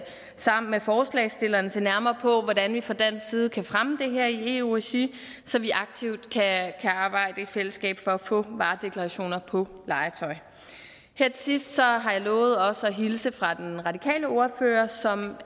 sammen med forslagsstillerne se nærmere på hvordan vi fra dansk side kan fremme det her i eu regi så vi aktivt kan arbejde i fællesskab for at få varedeklarationer på legetøj her til sidst har har jeg lovet også at hilse fra den radikale ordfører som